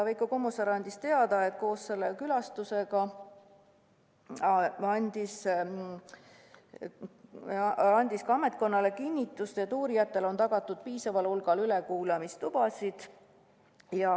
Veiko Kommusaar andis teada, et koos Kert Kingoga tehtud külastus andis ametnikkonnale kinnitust, et uurijatele on tagatud piisaval hulgal ülekuulamistubasid.